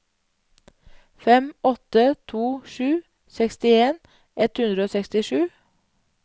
fem åtte to sju sekstien ett hundre og sekstisju